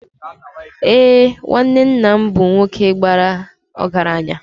Ee, nwanne nna m bụ nwoke bara ọgaranya.